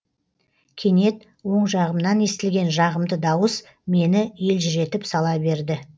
кенет оң жағымнан естілген жағымды дауыс мені елжіретіп сала берді